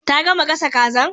Ta gama gasa kazan?